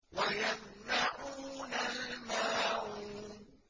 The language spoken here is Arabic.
وَيَمْنَعُونَ الْمَاعُونَ